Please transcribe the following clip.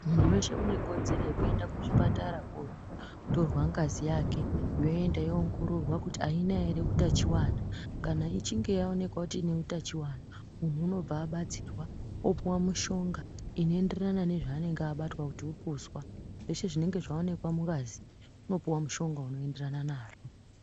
Munhu wese une kodzero yeku enda ku chipatara ko torwa ngazi yake yoenda yo ongororwa kuti ayina ere utachiwana kana ichinge ya onekwa kuti ine utachiwana munhu unobva abatsirwa opuwe mushonga ino enderana nezva anenge abatwa kuti upuswa zveshe zvinenge zva onekwa mungazi uno puwa mushonga uno enderana nazvo.